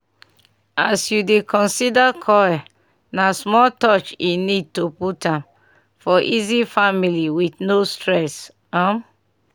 as u dey consider coil na small touch e need to put am --for easy family with no stress. um